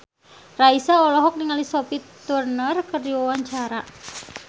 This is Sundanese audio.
Raisa olohok ningali Sophie Turner keur diwawancara